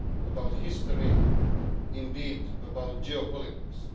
about history, and indeed about geopolitics.